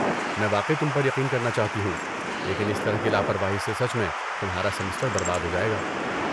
میں واقعی تم پر یقین کرنا چاہتی ہوں، لیکن اس طرح کی لاپرواہی سے سچ میں تمہارا سمسٹر برباد ہو جائے گا۔